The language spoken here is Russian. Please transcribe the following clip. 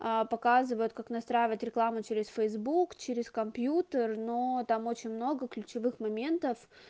показывают как настраивать рекламу через фейсбук через компьютер но там очень много ключевых моментов